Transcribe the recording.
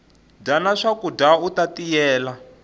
dyana swakudya uta tiyela